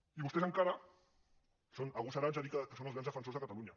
i vostès encara són agosarats a dir que són els grans defensors de catalunya